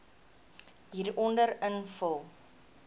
hieronder invul